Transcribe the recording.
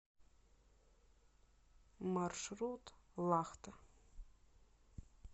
маршрут лахта